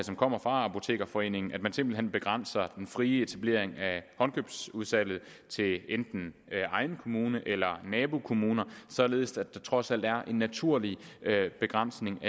som kommer fra apotekerforeningen at man simpelt hen begrænser den frie etablering af håndkøbsudsalg til enten egen kommune eller nabokommuner således at der alligevel trods alt er en naturlig begrænsning